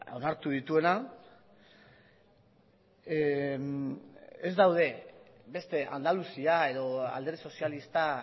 onartu dituena ez daude beste andaluzia edo alderdi sozialista